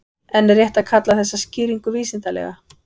En er rétt að kalla þessa skýringu vísindalega?